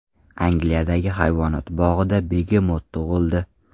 Angliyadagi hayvonot bog‘ida begemot tug‘ildi.